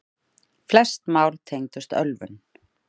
Flest mál tengdust ölvun.